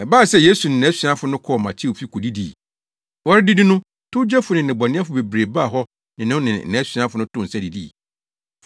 Ɛbae sɛ Yesu ne nʼasuafo no kɔɔ Mateo fi kodidii. Wɔredidi no, towgyefo ne nnebɔneyɛfo bebree baa hɔ ne no ne nʼasuafo no too nsa didii.